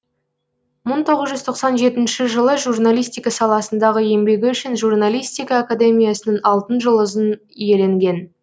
мың тоғыз жүз тоқсан жетінші жылы журналистика саласындағы еңбегі үшін журналистика академиясының алтын жүлдызын иеленген